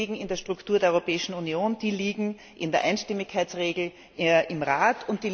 Die liegen in der Struktur der Europäischen Union, die liegen in der Einstimmigkeitsregel im Rat.